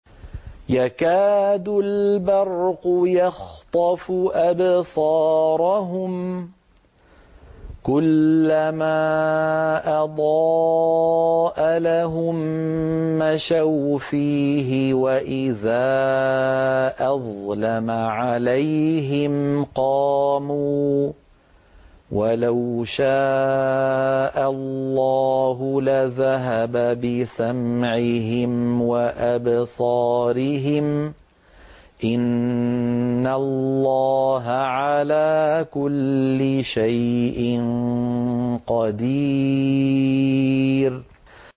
يَكَادُ الْبَرْقُ يَخْطَفُ أَبْصَارَهُمْ ۖ كُلَّمَا أَضَاءَ لَهُم مَّشَوْا فِيهِ وَإِذَا أَظْلَمَ عَلَيْهِمْ قَامُوا ۚ وَلَوْ شَاءَ اللَّهُ لَذَهَبَ بِسَمْعِهِمْ وَأَبْصَارِهِمْ ۚ إِنَّ اللَّهَ عَلَىٰ كُلِّ شَيْءٍ قَدِيرٌ